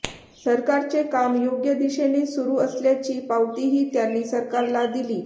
सरकारचे काम योग्य दिशेने सुरू असल्याची पावतीही त्यांनी सरकारला दिली